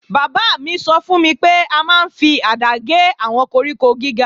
Bàbá mi sọ fún mi pé a máa ń fi àdá gé àwọn koríko gíga